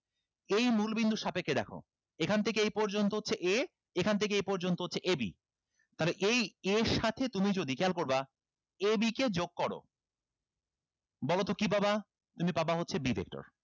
এই মূল বিন্দু সাপেক্ষে দেখো এখান থেকে এই পর্যন্ত হচ্ছে a এখান থেকে এই পর্যন্ত হচ্ছে a b তাহলে এই a এর সাথে তুমি যদি খেয়াল করবা a b কে যোগ করো বলোতো কি পাবা তুমি পাবা হচ্ছে b vector